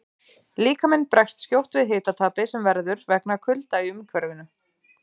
Líkaminn bregst skjótt við hitatapi sem verður vegna kulda í umhverfinu.